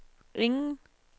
ingen